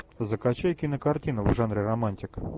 закачай кинокартину в жанре романтика